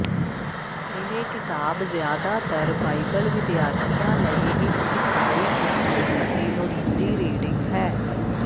ਇਹ ਕਿਤਾਬ ਜ਼ਿਆਦਾਤਰ ਬਾਈਬਲ ਵਿਦਿਆਰਥੀਆਂ ਲਈ ਇਕ ਈਸਾਈ ਕਲਾਸਿਕ ਅਤੇ ਲੋੜੀਂਦੀ ਰੀਡਿੰਗ ਹੈ